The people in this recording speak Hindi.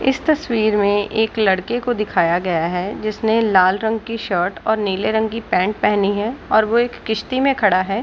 इस तस्वीर मे एक लड़के को दिखाया गया है जिसने लाल रंग की शर्ट और नील रंग की पैंट पहनी है और वो एक किसती में खड़ा है |